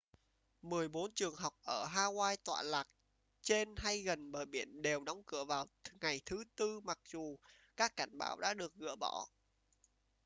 mười bốn trường học ở hawaii tọa lạc trên hay gần bờ biển đều đóng cửa vào ngày thứ tư mặc dù các cảnh báo đã được gỡ bỏ